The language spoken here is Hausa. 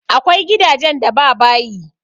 Akwai gidajen da ba bayi.